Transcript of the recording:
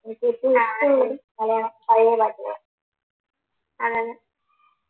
അഹ് മലയാളം പഴയ പാട്ടുകൾ അഹ്